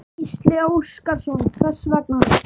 Gísli Óskarsson: Hvers vegna?